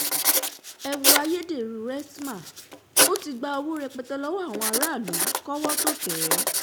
ẹ wo ayédèrú rstma ó ti gba owó rẹpẹtẹ lọ́wọ́ àwọn aráàlú kọ́wọ́ tóo tẹ̀ ẹ́